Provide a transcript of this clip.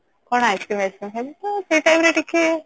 କଣ Ice Cream ବାଇସକ୍ରୀମ ଖାଇବୁ ତ ସେ time ରେ ଟିକେ